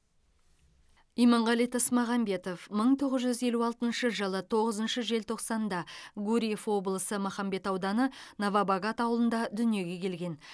иманғали тасмағамбетов мың тоғыз жүз елу алтыншы жылы тоғызыншы желтоқсанда гурьев облысы махамбет ауданы новобогат ауылында дүниеге келген